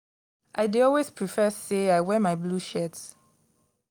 i dey always prefer sey i wear my blue shirt.